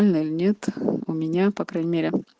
ально нет у меня по крайней мере